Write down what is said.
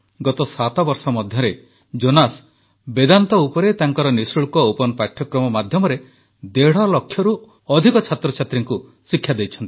ଗତ ସାତବର୍ଷ ମଧ୍ୟରେ ଜୋନାସ୍ ବେଦାନ୍ତ ଉପରେ ତାଙ୍କର ନିଃଶୁଳ୍କ ଓପନ୍ ପାଠ୍ୟକ୍ରମ ମାଧ୍ୟମରେ ଦେଢ଼ଲକ୍ଷରୁ ଅଧିକ ଛାତ୍ରଛାତ୍ରୀଙ୍କୁ ଶିକ୍ଷା ଦେଇଛନ୍ତି